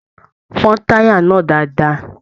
Fọn taya náà dáadáa!